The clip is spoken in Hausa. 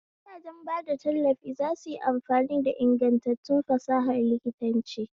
Gidajen bada tallafi za su yi amfani da ingantattun fasahar likitanci.